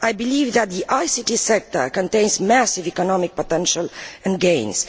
I believe that the ICT sector contains massive economic potential and gains.